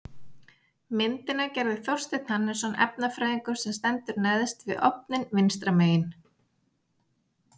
Myndina gerði Þorsteinn Hannesson efnafræðingur sem stendur neðst við ofninn vinstra megin.